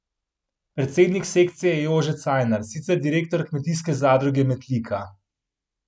Predsednik sekcije je Jože Cajnar, sicer direktor Kmetijske zadruge Metlika.